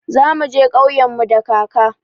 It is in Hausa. Za mu je ƙauyen mu da kaka.